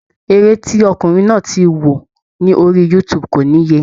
Eré tí ọkùnrin náà ti wo ni orí youtube kò níye.